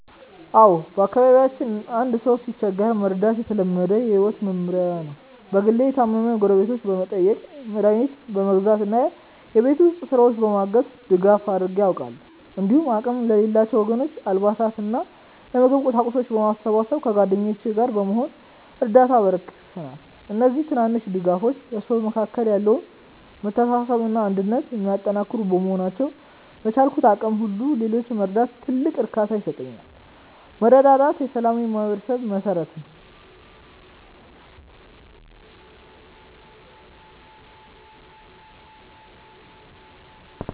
አዎ፣ በአካባቢያችን አንድ ሰው ሲቸገር መርዳት የተለመደ የህይወት መመሪያችን ነው። በግሌ የታመሙ ጎረቤቶችን በመጠየቅ፣ መድኃኒት በመግዛት እና የቤት ውስጥ ስራዎችን በማገዝ ድጋፍ አድርጌ አውቃለሁ። እንዲሁም አቅም ለሌላቸው ወገኖች አልባሳትንና የምግብ ቁሳቁሶችን በማሰባሰብ ከጓደኞቼ ጋር በመሆን እርዳታ አበርክተናል። እነዚህ ትናንሽ ድጋፎች በሰዎች መካከል ያለውን መተሳሰብና አንድነት የሚያጠናክሩ በመሆናቸው፣ በቻልኩት አቅም ሁሉ ሌሎችን መርዳት ትልቅ እርካታ ይሰጠኛል። መረዳዳት የሰላማዊ ማህበረሰብ መሠረት ነው።